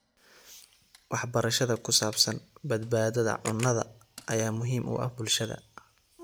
Waxbarashada ku saabsan badbaadada cunnada ayaa muhiim u ah bulshada.